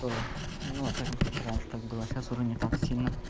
тону во всяком случае раньше так было сейчас уже не так сильно